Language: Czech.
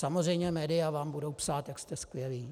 Samozřejmě média vám budou psát, jak jste skvělí.